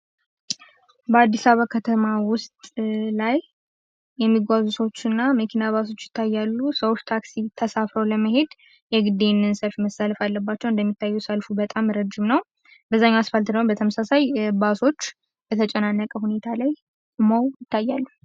በአዲስ አበባ ከተማ ውስጥ ላይ የሚጓዙ ሰዎች እና መኪና ባሶች ይታያሉ። ሰዎች ታክሲ ተሳፍረው ለመሄድ የግድ ይሄንን ሰልፍ መሰለፍ አለባቸው። እንደሚታየው ሰልፉ በጣም ረጅም ነው። በዛኛው አስፓልት ደሞ በተመሳሳይ ባሶች በተጨናነቀ ሁኔታ ላይ ሆነው ይታያሉ።